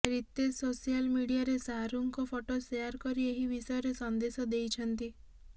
Ritesh social ମିଡିଆରେ ଶାହାରୁଖଙ୍କ photo share କରି ଏହି ବିଷୟରେ ସନ୍ଦେଶ ଦେଇଛନ୍ତି